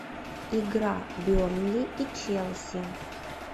игра бернли и челси